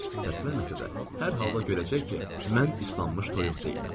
Səsləməsə də hər halda görəcək ki, mən islanmış toyuq deyiləm.